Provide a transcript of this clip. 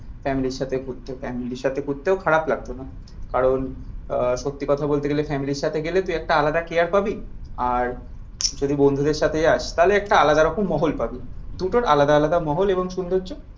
ফ্যামিলির সাথে ঘুরতে ফ্যামিলির সাথে ঘুরতেও খারাপ লাগতো না। কারণ আহ সত্যি কথা বলতে ফ্যামিলির সাথে গেলে তুই একটা আলাদা কেয়ার পাবি। আর যদি বন্ধুদের সাথে যাস তাহলে একটা আলাদা রকম মহল পাবি। দুটোর আলাদা আলাদা মহল এবং সৌন্দর্য।